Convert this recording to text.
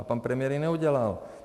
A pan premiér to neudělal.